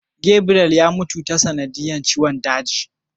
Gabriel yan mutu ta sanadiyar ciwon daji.